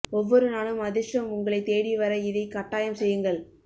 ஒவ்வொரு நாளும் அதிர்ஷ்டம் உங்களை தேடி வர இதை கட்டாயம் செய்யுங்கள்